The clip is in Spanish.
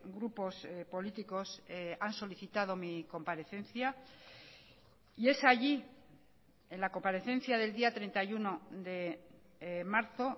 grupos políticos han solicitado mi comparecencia y es allí en la comparecencia del día treinta y uno de marzo